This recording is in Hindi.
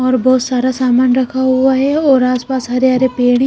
और बहुत सारा सामान रखा हुआ है और आसपास हरे हरे पेड़ हैं।